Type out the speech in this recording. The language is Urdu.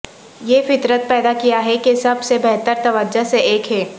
یہ فطرت پیدا کیا ہے کہ سب سے بہتر توجہ سے ایک ہے